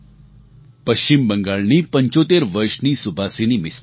પશ્ચિમ બંગાળની 75 વર્ષની સુભાસિની મિસ્ત્રી